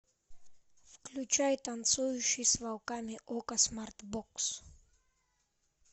включай танцующий с волками окко смарт бокс